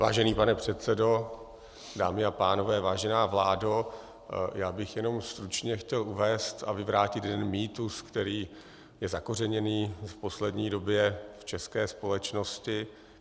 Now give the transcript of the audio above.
Vážený pane předsedo, dámy a pánové, vážená vládo, já bych jenom stručně chtěl uvést a vyvrátit jeden mýtus, který je zakořeněný v poslední době v české společnosti.